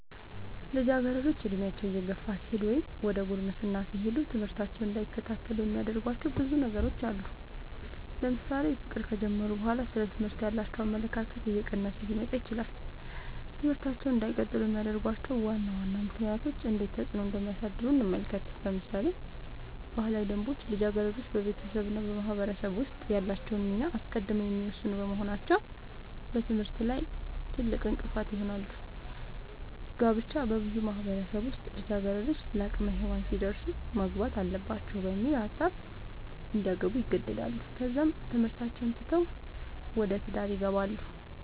ልጃገረዶች ዕድሜያቸው እየገፋ ሲሄድ ወይም ዘደ ጉርምስና ሲሄዱ ትምህርታቸውን እንዳይከታተሉ የሚያደርጉዋቸው ብዙ ነገሮች አሉ ለምሳሌ ፍቅር ከጀመሩ በኋላ ስለ ትምህርት ያላቸው አመለካከት እየቀነሰ ሊመጣ ይችላል ትምህርታቸውን እንዳይቀጥሉ የሚያደርጉዋቸው ዋና ዋና ምክንያቶች እንዴት ተፅዕኖ እንደሚያሳድሩ እንመልከት ለምሳሌ ባህላዊ ደንቦች ልጃገረዶች በቤተሰብ እና በማህበረሰብ ውስጥ ያላቸውን ሚና አስቀድመው የሚወስኑ በመሆናቸው በትምህርታቸው ላይ ትልቅእንቅፋት ይሆናል። ጋብቻ- በብዙ ማህበረሰቦች ውስጥ ልጃገረዶች ለአቅመ ሄዋን ሲደርሱ ማግባት አለባቸው በሚል ሀሳብ እንዲያገቡ ይገደዳሉ ከዛም ትምህርታቸውን ትተው ወደ ትዳር ይገባሉ።